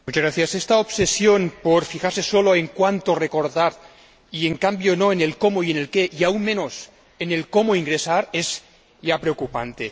Señor Presidente, esta obsesión por fijarse solo en cuánto recortar y, en cambio, no en el cómo y en el qué, y aún menos en el cómo ingresar, es ya preocupante.